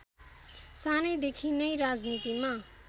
सानैदेखि नै राजनीतिमा